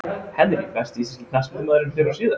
Henry Besti íslenski knattspyrnumaðurinn fyrr og síðar?